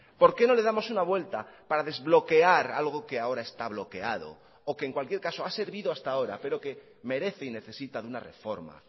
por qué no le damos una vuelta para desbloquear algo que ahora esta bloqueado o que en cualquier caso ha servido hasta ahora pero que merece y necesita una reforma